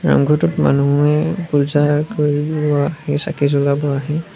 নাম ঘৰটোত মানুহে পূজা কৰি লোৱা সেই চাকি জ্বলাব আহে।